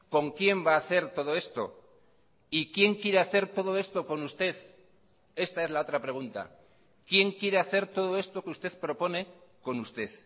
con quién va a hacer todo esto y quién quiere hacer todo esto con usted esta es la otra pregunta quién quiere hacer todo esto que usted propone con usted